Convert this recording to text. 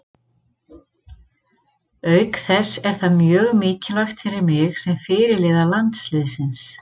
Auk þess er það mjög mikilvægt fyrir mig sem fyrirliða landsliðsins.